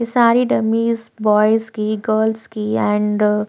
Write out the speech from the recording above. ये सारी dummies boys की गर्ल्स की एंड --